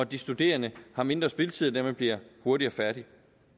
de studerende har mindre spildtid og dermed bliver hurtigere færdig